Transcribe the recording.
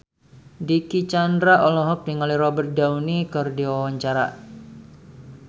Dicky Chandra olohok ningali Robert Downey keur diwawancara